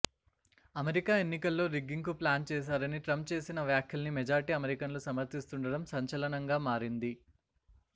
America ఎన్నికల్లో rigging కు plan చేశారని ట్రంప్ చేసిన వ్యాఖ్యల్ని మెజార్టీ అమెరికన్లు సమర్థిస్తుండటం సంచలనంగా మారింది